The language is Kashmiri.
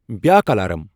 بیاکھ الارام ۔